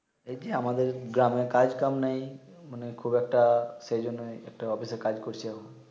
এই টি আমাদের গ্রামে কাজ কাম নাই মানে খুব একটা সে জন্যই একটা অফিস এ কাজ করছি এখন